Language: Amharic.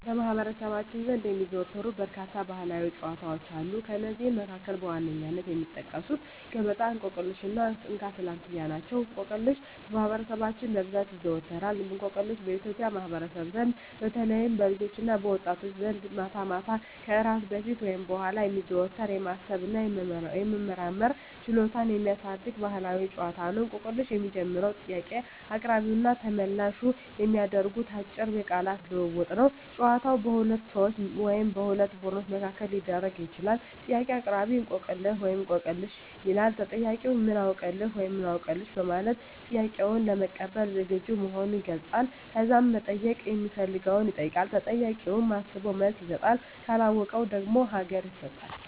በማኅበረሰባችን ዘንድ የሚዘወተሩ በርካታ ባሕላዊ ጨዋታዎች አሉ። ከእነዚህም መካከል በዋነኝነት የሚጠቀሱት ገበጣ፣ እንቆቅልሽ እና እንካ ስላንትያ ናቸው። እንቆቅልሽ በማህበረሰባችን በብዛት ይዘዎተራል። እንቆቅልሽ በኢትዮጵያ ማኅበረሰብ ዘንድ በተለይም በልጆችና በወጣቶች ዘንድ ማታ ማታ ከእራት በፊት ወይም በኋላ የሚዘወተር፣ የማሰብ እና የመመራመር ችሎታን የሚያሳድግ ባሕላዊ ጨዋታ ነው። እንቆቅልሽ የሚጀምረው ጥያቄ አቅራቢውና ተመልላሹ በሚያደርጉት አጭር የቃላት ልውውጥ ነው። ጨዋታው በሁለት ሰዎች ወይም በሁለት ቡድኖች መካከል ሊደረግ ይችላል። ጥያቄ አቅራቢ፦ "እንቆቅልህ/ሽ?" ይላል። ተጠያቂው፦ "ምን አውቅልህ?" (ወይም "አውቅልሽ") በማለት ጥያቄውን ለመቀበል ዝግጁ መሆኑን ይገልጻል። ከዛም መጠየቅ ሚፈልገውን ይጠይቃል። ተጠያቂውም አስቦ መልስ ይሰጣል። ካለወቀው ደግሞ ሀገ